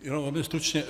Jenom ale stručně.